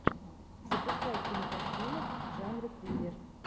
запускай кинокартину в жанре триллер